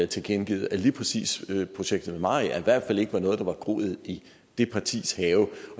tilkendegivet at lige præcis projektet ved mariager i hvert fald ikke var noget der havde groet i det partis have